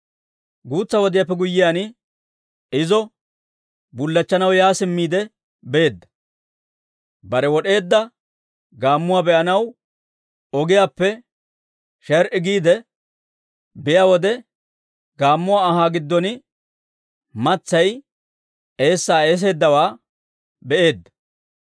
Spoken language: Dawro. Guutsa wodiyaappe guyyiyaan, izo bullachchanaw yaa simmiide beedda; bare wod'eedda gaammuwaa be'anaw ogiyaappe sher"i giide biyaa wode, gaammuwaa anhaa giddon matsay eessaa eesseedawaa be'eedda.